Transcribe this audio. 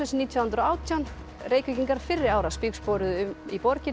nítján hundruð og átján Reykvíkingar fyrri ára spígsporuðu um í borginni